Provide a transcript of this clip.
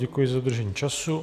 Děkuji za dodržení času.